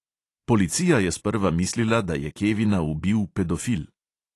Policija je sprva mislila, da je kevina ubil pedofil.